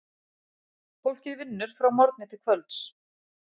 Fólkið vinnur frá morgni til kvölds.